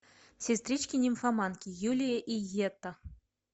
сестрички нимфоманки юлия и йетта